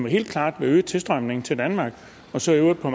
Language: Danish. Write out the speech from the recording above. helt klart vil øge tilstrømningen til danmark og så på